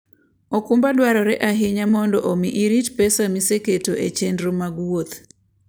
okumba dwarore ahinya mondo omi irit pesa miseketo e chenro mag wuoth.